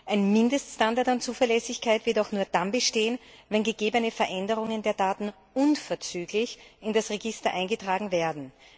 Ein Mindeststandard an Zuverlässigkeit wird auch nur dann bestehen, wenn gegebene Veränderungen der Daten unverzüglich in das Register eingetragen werden.